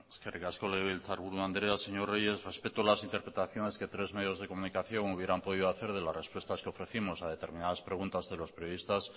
eskerrik asko legebiltzarburu andrea señor reyes respeto las interpretaciones que tres medios de comunicación hubieran podido hacer de las respuestas que ofrecimos a determinadas preguntas de los periodistas